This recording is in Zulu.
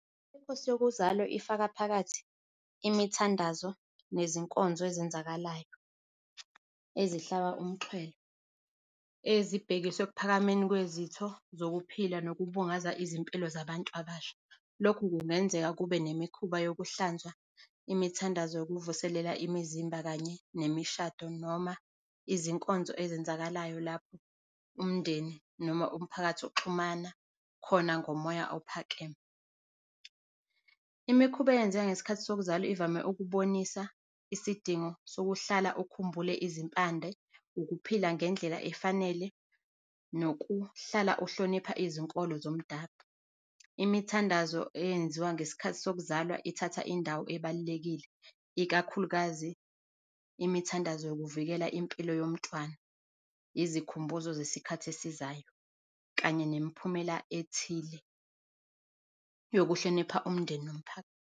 Inkosi yokuzalwa ifaka phakathi imithandazo nezinkonzo ezenzakalayo, ezihlaba umxhwele, ezibhekiswe ekuphakame kwezitho zokuphila nokubungaza izimpilo zabantu abasha. Lokhu kungenzeka kube nemikhuba yokuhlanzwa imithandazo yokuvuselela imizimba kanye nemishado noma izinkonzo ezenzakalayo lapho umndeni noma umphakathi oxhumana khona ngomoya ophakeme. Imikhuba eyenzeka ngesikhathi sokuzalwa ivame ukubonisa isidingo sokuhlala ukhumbule izimpande, ukuphila ngendlela efanele nokuhlala uhlonipha izinkolo zomdabu. Imithandazo eyenziwa ngesikhathi sokuzalwa ithatha indawo ebalulekile ikakhulukazi imithandazo yokuvikela impilo yomtwana, izikhumbuzo ngesikhathi esizayo, kanye nemiphumela ethile yokuhlonipha umndeni yomuphako.